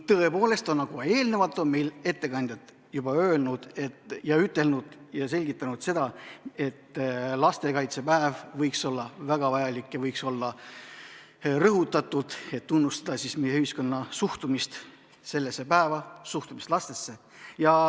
Tõepoolest, nagu eelnevalt on ettekandjad öelnud ja selgitanud, lastekaitsepäev, mis on väga vajalik, võiks olla rõhutatud, et tunnustada meie ühiskonna suhtumist sellesse päeva, suhtumist lastesse.